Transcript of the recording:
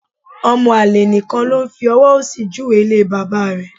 Ọmọ àlè nìkan ló fi ọwọ́ òsì júwe ilé bàbá rẹ̀